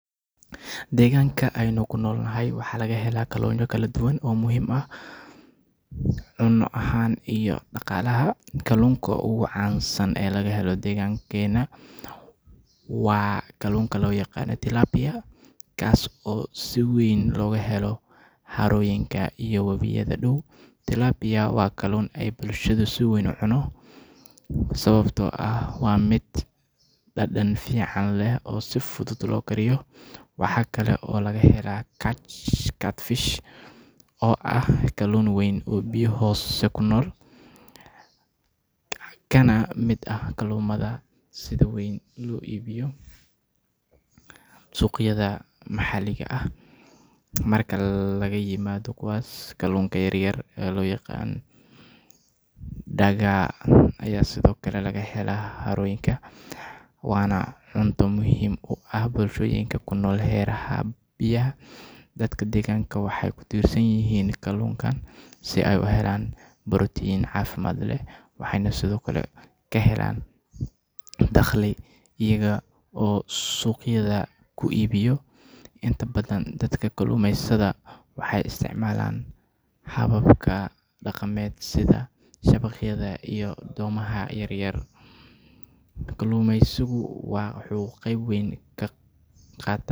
Deegaanka aynu ku nool nahay waxaa laga helaa kalluunyo kala duwan oo muhiim u ah cunno ahaan iyo dhaqaalaha. Kalluunku ugu caansan ee laga helo deegaanka waa kalluunka loo yaqaan tilapia, kaas oo si weyn looga helo harooyinka iyo wabiyada dhow. Tilapia waa kalluun ay bulshadu si weyn u cunto, sababtoo ah waa mid dhadhan fiican leh oo si fudud loo kariyo. Waxaa kale oo laga helaa catfish oo ah kalluun weyn oo biyo hoose ku nool, kana mid ah kalluunnada sida weyn loo iibiyo suuqyada maxalliga ah. Marka laga yimaado kuwaas, kalluunka yaryar ee loo yaqaan dagaa ayaa sidoo kale laga helaa harooyinka, waana cunto muhiim u ah bulshooyinka ku nool hareeraha biyaha. Dadka deegaanka waxay ku tiirsan yihiin kalluunkan si ay u helaan borotiin caafimaad leh, waxayna sidoo kale ka helaan dakhli iyaga oo suuqyada ku iibiya. Inta badan dadka kalluumeysata waxay isticmaalaan hababka dhaqameed sida shabaqyada iyo doomaha yaryar. Kalluumaysigu wuxuu qayb weyn ka qaataa.